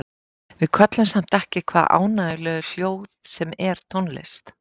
Við köllum samt ekki hvaða ánægjulegu hljóð sem er tónlist.